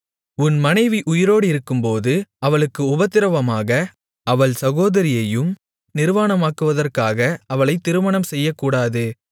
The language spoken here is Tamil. உன் மனைவி உயிரோடிருக்கும்போது அவளுக்கு உபத்திரவமாக அவள் சகோதரியையும் நிர்வாணமாக்குவதற்காக அவளைத் திருமணம் செய்யக்கூடாது